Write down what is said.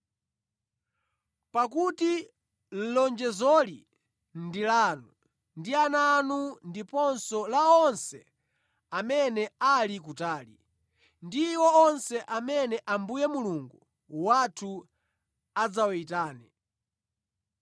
Pakuti lonjezoli ndi lanu ndi ana anu ndiponso la onse amene ali kutali, ndi iwo onse amene Ambuye Mulungu wathu adzawayitane.”